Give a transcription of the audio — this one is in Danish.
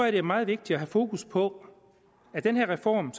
at det er meget vigtigt at have fokus på at den her reform